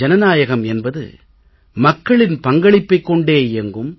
ஜனநாயகம் என்பது மக்களின் பங்களிப்பைக் கொண்டே இயங்கும்